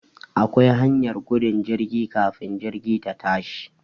Akwa hanyar gudun jirgi kafin jirgi ta tashi